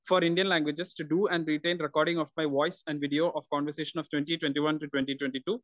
speaker 1 for Indian languages do and detailed recording of my voice and video of conversation of twenty twenty one to twenty twenty to